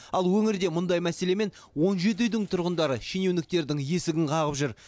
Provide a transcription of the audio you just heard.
ал өңірде мұндай мәселемен он жеті үйдің тұрғындары шенеуніктердің есігін қағып жүр